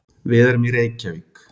Við erum í Reykjavík.